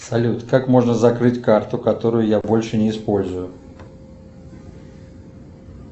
салют как можно закрыть карту которую я больше не использую